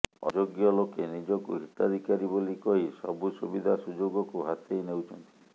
ଅଯୋଗ୍ୟ ଲୋକେ ନିଜକୁ ହିତାଧିକାରୀ ବୋଲି କହି ସବୁ ସୁବିଧା ସୁଯୋଗକୁ ହାତେଇ ନେଉଛନ୍ତି